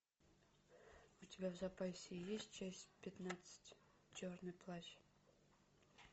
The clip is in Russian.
у тебя в запасе есть часть пятнадцать черный плащ